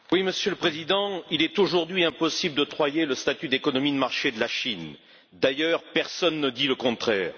Monsieur le Président, il est aujourd'hui impossible d'octroyer le statut d'économie de marché à la Chine, d'ailleurs personne ne dit le contraire.